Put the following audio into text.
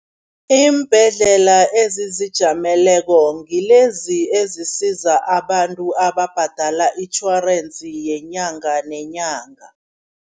Iimbhedlela ezizijameleko ngilezi ezisiza abantu ababhadela itjhorensi yenyanga neenyanga.